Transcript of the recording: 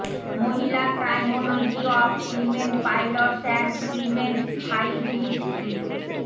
মহিলা criminology of women pilots and women's fight history